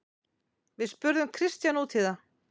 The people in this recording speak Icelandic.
Við spurðum Kristján út í það.